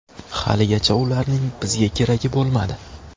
Haligacha ularning bizga keragi bo‘lmadi.